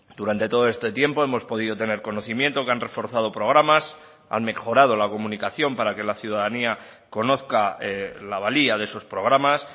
durante todo este tiempo hemos podido tener conocimiento que han reforzado programas han mejorado la comunicación para que la ciudadanía conozca la valía de esos programas